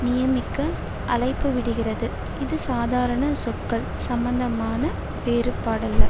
நியமிக்க அழைப்புவிடுகிறது இது சாதாரண சொற்கள் சம்பந்தமான வேறுபாடல்ல